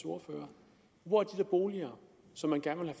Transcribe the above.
ordfører hvor er de boliger som man gerne